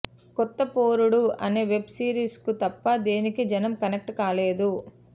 కొత్తపోరడు అనే web series కు తప్ప దేనికీ జనం కనెక్ట్ కాలేదు